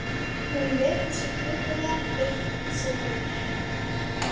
Hún vegur sig klunnalega upp syllurnar.